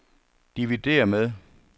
dividér med